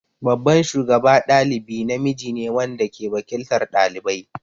Babban shugaba ɗalibi namiji ne wanda ke waƙiltar ɗalibai.